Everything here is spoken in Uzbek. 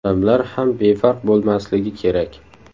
Odamlar ham befarq bo‘lmasligi kerak.